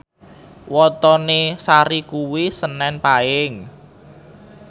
wetone Sari kuwi senen Paing